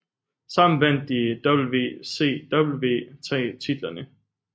Sammen vandt de WCW tag titlerne